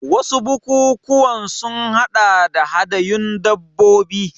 Wasu bukukuwan sun haɗa da hadayun dabbobi.